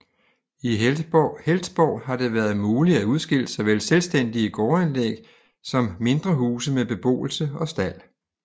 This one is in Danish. I Heltborg har det været muligt at udskille såvel selvstændige gårdanlæg som mindre huse med beboelse og stald